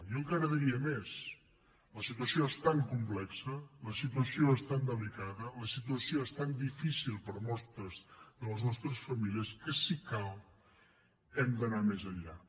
jo encara diria més la situació es tan complexa la situació és tan delicada la situació és tan difícil per a moltes de les nostres famílies que si cal hem d’anar més enllà